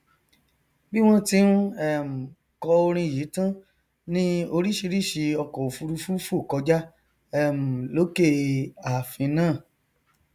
bí wọn ti n um kọ orin yìí tán ni oríṣìíríṣìí ọkọòfurufú fò kọjá um lókè e àfin náà